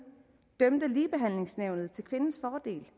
til kvindens fordel